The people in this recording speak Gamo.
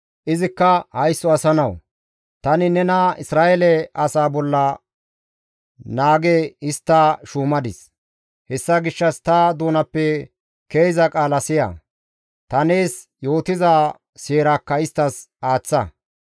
Izikka, «Haysso asa nawu! Tani nena Isra7eele asaa bolla naage histta shuumadis; hessa gishshas ta doonappe ke7iza qaala siya; ta nees yootiza seerakka isttas aaththa.